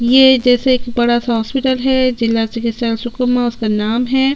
ये जैसे एक बड़ा-सा हॉस्पिटल है जिला चिकित्सालय सुकमा उसका नाम है।